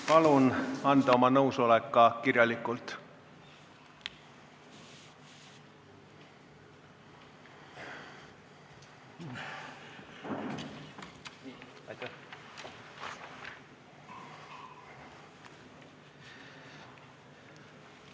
Palun anda oma nõusolek ka kirjalikult!